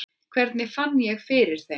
Hvernig ég fann fyrir þeim?